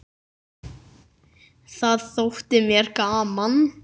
Það þótti mér gaman.